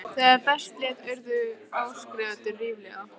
Þegar best lét urðu áskrifendur ríflega